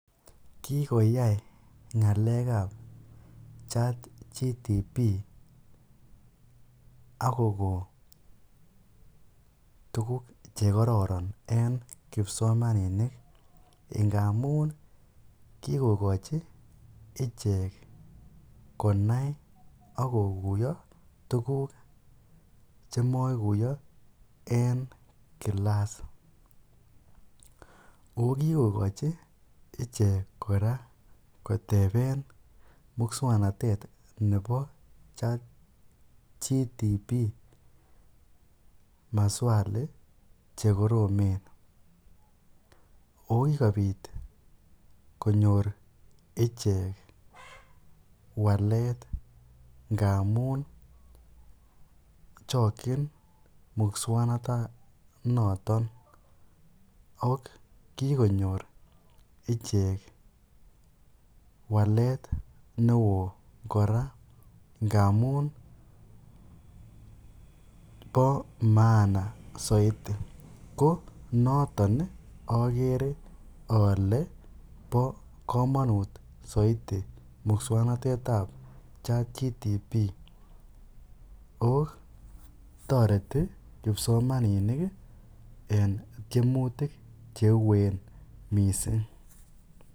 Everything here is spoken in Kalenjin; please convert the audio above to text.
Kikoyai ngalekab chatgbt ak kokon tukuk chekororon en kipsomaninik amun kikochi ichek konai ak kokuiyo ak tukuk chemokuiyo en kilas, oo kikokochi ichek kora koteben muswoknotet nebo chatgbt maswali chekoromen ak ko kikobit konyor ichek walet ngamun chokyin muswoknoton ak kikonyor ichek walet newo kora ngamun boo maana soiti, ko noton okere olee bo komonut soiti muswoknotetab chatgbt, ak ko toreti kipsomaninik en tiemutik cheuen mising.